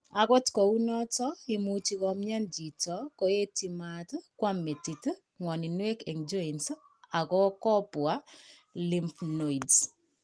Agot kou noton, imuch komyan chito koetyi maat, koam metit, ngwoninwek en joints ako kobwa lymph nodes